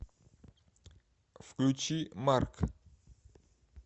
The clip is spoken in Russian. включи марк